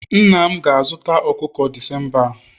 nna m ga-azụta ọkụkọ December a